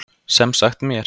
Sem sagt mér.